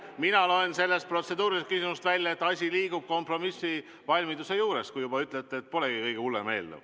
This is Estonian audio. Mina loen sellest protseduurilisest küsimusest välja, et asi liigub kompromissivalmiduse suunas, kui te juba ütlete, et see polegi kõige hullem eelnõu.